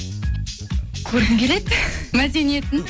көргім келеді мәдениетін